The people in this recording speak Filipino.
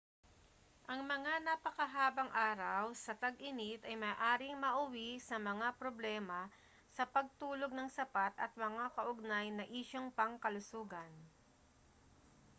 ang mga napakahabang araw sa tag-init ay maaaring mauwi sa mga problema sa pagtulog nang sapat at mga kaugnay na isyung pangkalusugan